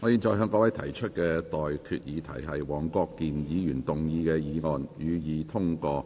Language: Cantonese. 我現在向各位提出的待決議題是：黃國健議員動議的議案，予以通過。